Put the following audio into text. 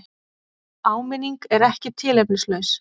Áminningin er ekki tilefnislaus.